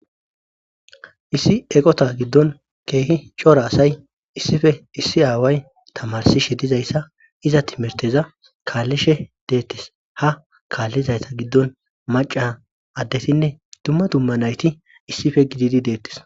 issi eqota giddon keehi cora asay issife issi aaway tamarsishe dizayssa iza timirteza kaallishe deettis ha kaallizayta giddon maca addetinne dumma dumma nayti issife gididi deettis